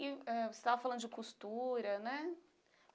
E ãh você estava falando de costura, né?